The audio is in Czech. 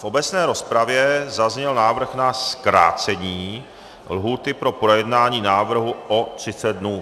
V obecné rozpravě zazněl návrh na zkrácení lhůty pro projednání návrhu o 30 dnů.